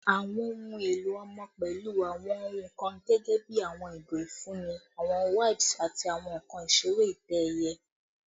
Awọn ohun elo ọmọ pẹlu awọn ohun kan gẹgẹbi awọn igo ifunni, awọn wipes, ati awọn nkan isere itẹ-ẹiyẹ